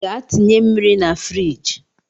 Gaa tinye mmiri na firigi!